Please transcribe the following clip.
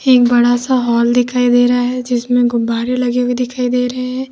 एक बड़ा सा हॉल दिखाई दे रहा है जिसमें गुब्बारे लगे हुए दिखाई दे रहे हैं।